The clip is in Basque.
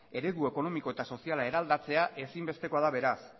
eredu ekonomiko eta soziala eraldatzea ezin bestekoa beraz